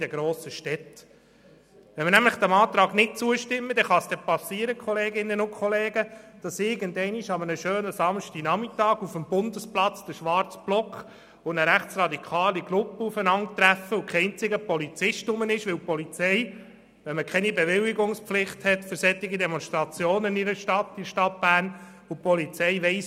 Wenn man dem Antrag nicht zustimmt, kann es passieren, dass an einem schönen Samstagnachmittag der schwarze Block und eine rechtsradikale Gruppe aufeinandertreffen und kein einziger Polizist vor Ort ist, weil die Polizei ohne Bewilligungspflicht nichts davon weiss.